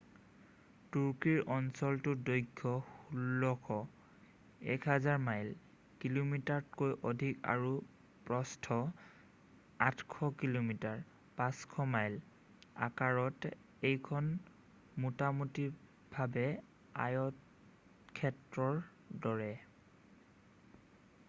তুৰ্কীৰ অঞ্চলটোৰ দৈৰ্ঘ্য 1,600 1,000 মাইল কিলোমিটাৰতকৈ অধিক আৰু প্ৰস্থ 800 কিমি 500 মাইল আকাৰত এইখন মুটামুটিভাৱে আয়তক্ষেত্ৰৰ দৰে।